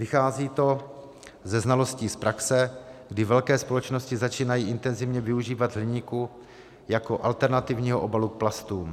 Vychází to ze znalostí z praxe, kdy velké společnosti začínají intenzivně využívat hliníku jako alternativního obalu k plastům.